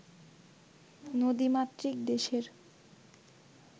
নদীমাতৃক দেশের